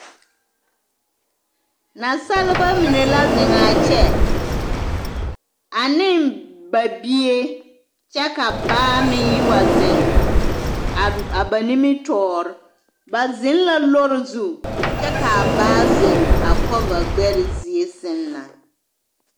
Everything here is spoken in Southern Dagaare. Naasaleba mine la zeŋ a kyɛ ane ba bie kyɛ ka baa meŋ yi wa zeŋ a ba nimitɔɔr bw zeŋ la lɔɔre zu kyɛ ka a baa zeŋ a kɔvaɡbɛr zie sɛŋ na.